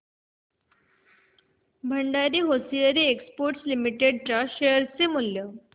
Bhandari hosiery exports limited च्या share चे मूल्य